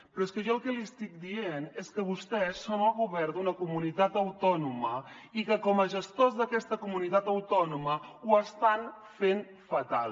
però és que jo el que li estic dient és que vostès són el govern d’una comunitat autònoma i que com a gestors d’aquesta comunitat autònoma ho estan fent fatal